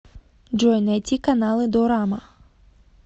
джой найти каналы дорама